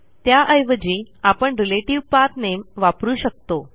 त्याऐवजी आपण रिलेटिव्ह पाठ nameवापरू शकतो